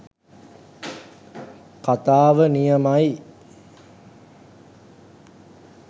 කතාව නියමයි